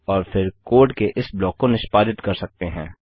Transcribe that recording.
और फिर कोड के इस ब्लॉक को निष्पादित कर सकते हैं